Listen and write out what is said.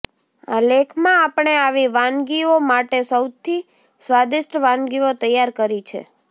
આ લેખમાં આપણે આવી વાનગીઓ માટે સૌથી સ્વાદિષ્ટ વાનગીઓ તૈયાર કરી છે